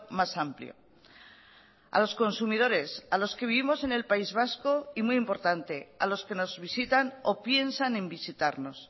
más amplio a los consumidores a los que vivimos en el país vasco y muy importante a los que nos visitan o piensan en visitarnos